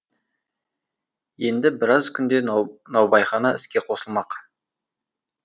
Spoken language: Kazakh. енді біраз күнде наубайхана іске қосылмақ